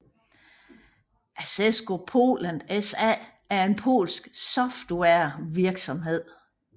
Asseco Poland SA er en polsk softwarevirksomhed